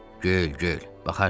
Gül, gül, baxarsan.